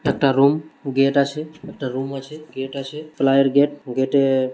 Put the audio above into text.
একটা room gate আছে একটা রুম আছে গেট আছে প্লাইয়ের গেট গেট এ।